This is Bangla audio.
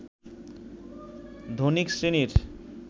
ধনিক শ্রেণীর